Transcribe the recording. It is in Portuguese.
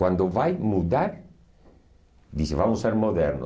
Quando vai mudar, diz, vamos ser modernos.